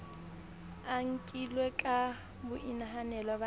a nkilwe ka boinahanelo ba